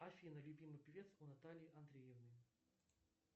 афина любимый певец у натальи андреевны